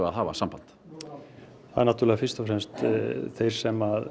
að hafa samband það eru fyrst og fremst þeir sem